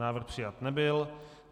Návrh přijat nebyl.